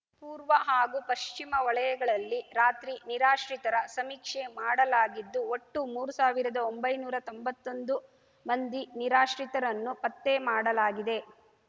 ಪೂರ್ವ ಹಾಗೂ ಪಶ್ಚಿಮ ವಲಯಗಳಲ್ಲಿ ರಾತ್ರಿ ನಿರಾಶ್ರಿತರ ಸಮೀಕ್ಷೆ ಮಾಡಲಾಗಿದ್ದು ಒಟ್ಟು ಮೂರು ಸಾವಿರದಒಂಬೈನೂರಾ ತೊಂಬತ್ತೊಂದು ಮಂದಿ ನಿರಾಶ್ರಿತರನ್ನು ಪತ್ತೆ ಮಾಡಲಾಗಿದೆ